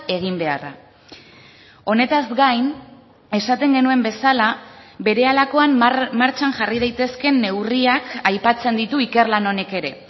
egin beharra honetaz gain esaten genuen bezala berehalakoan martxan jarri daitezkeen neurriak aipatzen ditu ikerlan honek ere